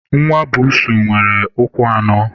Nwa mba nwere ụkwụ anọ